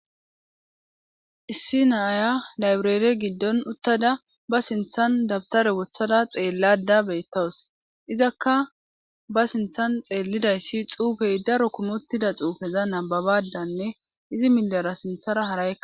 Issi naaya labreere giddon uttada ba sinthan dabtare wothada xeellada beettawus izakka ba sinthan xeellidayssi xuufey daro kumottida xuufeza nababadanne izi millara sinthara hara